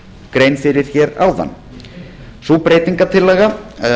grein fyrir hér áðan sú breytingartillaga